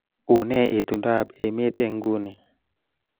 Unee itondoab emet eng nguni